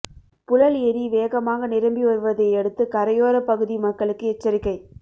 புழல் எரி வேகமாக நிரம்பி வருவதையடுத்து கரையோர பகுதி மக்களுக்கு எச்சரிக்கை